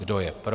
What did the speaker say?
Kdo je pro?